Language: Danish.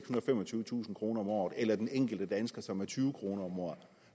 og femogtyvetusind kroner om året eller den enkelte dansker med tyve kroner om året